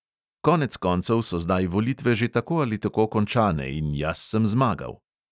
Konec koncev so zdaj volitve že tako ali tako končane in jaz sem zmagal.